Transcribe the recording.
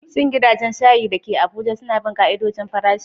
Shin gidajen shayi da ke Abuja suna bin ƙa'idojin farashi?